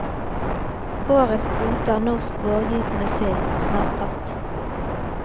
Årets kvote av norsk vårgytende sild, er snart tatt.